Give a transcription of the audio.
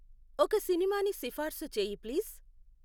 ఒక సినిమాని సిఫార్సు చెయ్యి ప్లీజ్.